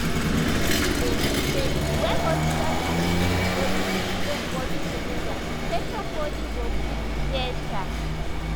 di thing be say when hospital and um ur belief join body together patient body go quick um better